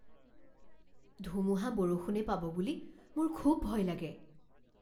ধুমুহা বৰষুণে পাব বুলি মোৰ খুব ভয় লাগে।